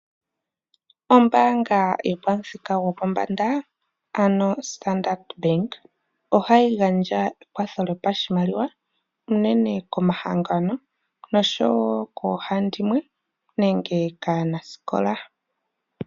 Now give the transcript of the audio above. Ombaanga yopamuthinga gopombanda, ano Standard Bank ohayi gandja ekwatho lyoshimaliwa unene komahangano noshowo koohandimwe nenge kaanasikola.